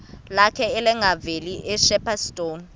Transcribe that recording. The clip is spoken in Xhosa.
lakhe levangeli ushepstone